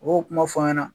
U b'o kuma fɔ an ɲɛna